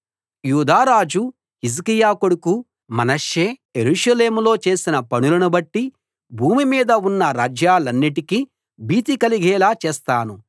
యూదా రాజు హిజ్కియా కొడుకు మనష్షే యెరూషలేములో చేసిన పనులను బట్టి భూమి మీద ఉన్న రాజ్యాలన్నిటికీ భీతి కలిగేలా చేస్తాను